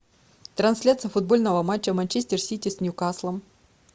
трансляция футбольного матча манчестер сити с ньюкаслом